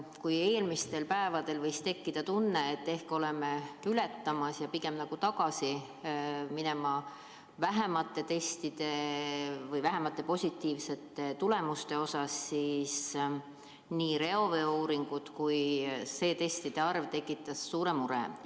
Kui eelmistel päevadel võis tekkida tunne, et ehk oleme tippu ületamas ja pigem tagasi minemas vähemate positiivsete tulemuste suunas, siis nii reoveeuuringud kui ka see positiivsete testide arv tekitas uue suure mure.